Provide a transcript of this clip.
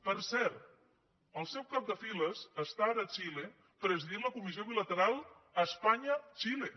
per cert el seu cap de files està ara a xile presidint la comissió bilateral espanya xile